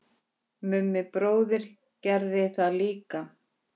Vildi ég væri systir.